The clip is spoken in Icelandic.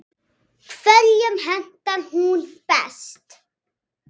Hverjum hentar hún best?